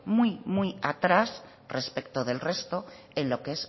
muy muy atrás respecto del resto en lo que